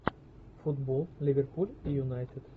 футбол ливерпуль и юнайтед